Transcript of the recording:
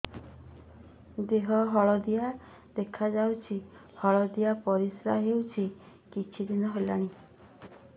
ଦେହ ହଳଦିଆ ଦେଖାଯାଉଛି ହଳଦିଆ ପରିଶ୍ରା ହେଉଛି କିଛିଦିନ ହେଲାଣି